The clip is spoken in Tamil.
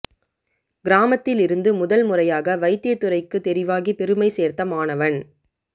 கிராமத்தில் இருந்து முதல் முறையாக வைத்தியத்துறைக்கு தெரிவாகி பெருமை சோ்த்த மாணவன்